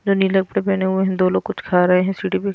जो नीले कपड़े पहने हुए हैं दो लोग कुछ खा रहे हैं सीढ़ी पे --